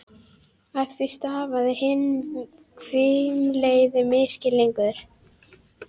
Af því stafaði hinn hvimleiði misskilningur.